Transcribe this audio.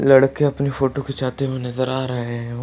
लडके अपनी फोटो खींचाते हुए नजर आ रहें हैं।